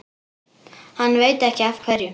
Hann veit ekki af hverju.